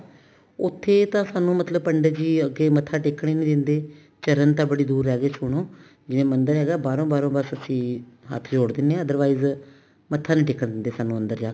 ਉੱਥੇ ਤਾਂ ਸਾਨੂੰ ਮਤਲਬ ਪੰਡਿਤ ਜੀ ਮੱਥਾ ਟੇਕਣ ਹੀ ਨੀ ਦਿੰਦੇ ਚਰਨ ਤਾਂ ਬੜੀ ਦੁਰ ਰਹਿਗੇ ਸ਼ੁਹਨੁ ਜਿਵੇਂ ਮੰਦਿਰ ਹੈਗਾ ਬਾਹਰੋਂ ਬਾਹਰੋਂ ਬੱਸ ਅਸੀਂ ਹੱਥ ਜੋੜ ਦਿੰਨੇ ਹਾਂ other wise ਮੱਥਾ ਨੀ ਟੇਕਣ ਦਿੰਦੇ ਸਾਨੂੰ ਅੰਦਰ ਜਾ ਕੇ